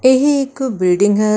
ਇਹ ਇੱਕ ਬਿਲਡਿੰਗ ਹੈ।